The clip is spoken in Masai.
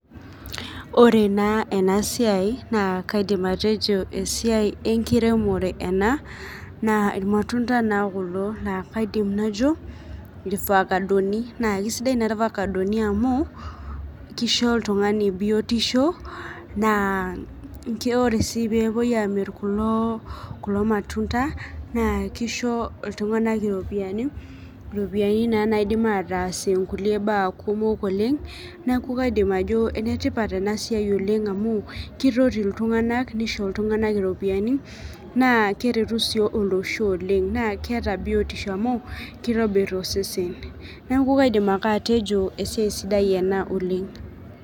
Ore naa ena siai naa kaidim atejo esiai enkiremore ena naa irmatunda naa kulo laa kaidim najo irfakadoni naa kisidai naa irfakadoni amu kisho oltung'ani biotisho naa ke ore sii peepuo amirr kulo naa kisho iltung'anak iropiyiani iropiyiani naa naidim ataasie nkulie baa kumok oleng neku kaidim ajo enetipat ena siai oleng amu kitoti iltung'anak nisho iltung'anak iropiyiani naa keretu sii olosho oleng naa keeta biotisho amu kitobirr osesen neku kaidim ake atejo esiai sidai ena oleng.